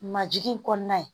Majigin in kɔnɔna ye